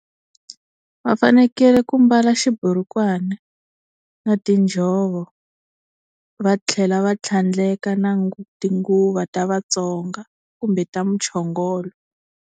Va fanekele ku mbala xiburukwani na tinjhovo va tlhela va tlhandleka na tinguva ta Vatsonga kumbe ta muchongolo.